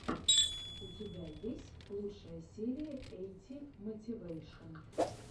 у тебя есть лучшая серия эйти мотивэйшен